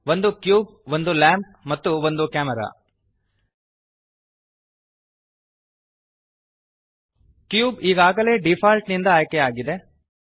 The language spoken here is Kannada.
ಒಂದು ಕ್ಯೂಬ್ ಒಂದು ಲ್ಯಾಂಪ್ ಮತ್ತು ಒಂದು ಕ್ಯಾಮೆರಾ ಕ್ಯೂಬ್ ಈಗಾಗಲೇ ಡಿಫಾಲ್ಟ್ ನಿಂದ ಆಯ್ಕೆಯಾಗಿದೆ